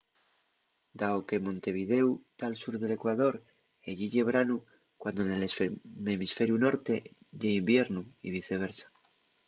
dao que montevidéu tá al sur del ecuador ellí ye branu cuando nel hemisferiu norte ye iviernu y viceversa